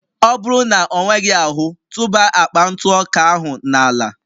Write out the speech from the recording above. Ọ bụrụ na ọ nweghị ahụ, tụba akpa ntụ ọka ahụ n'ala